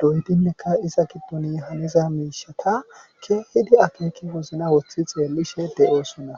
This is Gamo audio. doydinneka iza gidduni haniza miishata kehidi akeeki wozna woththi xeellishe de7oosunna